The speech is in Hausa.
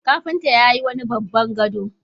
Kafinta yayi wani babban gado.